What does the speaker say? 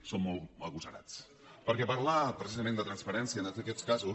són molt agosarats perquè parlar precisament de transparència en aquests casos